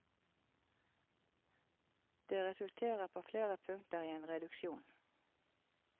Det resulterer på flere punkter i en reduksjon.